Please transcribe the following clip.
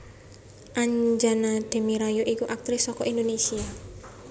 Anjana Demira ya iku aktris saka Indonésia